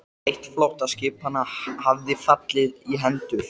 Færi ég kannski að gelta bráðum. eða bíta?